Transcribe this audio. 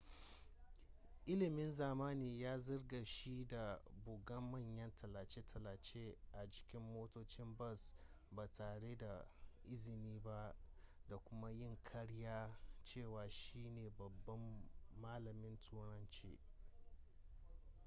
ilimin zamani ya zarge shi da buga manyan tallace-tallace a jikin motocin bas ba tare da izini ba da kuma yin karyar cewa shi ne babban malamin turanci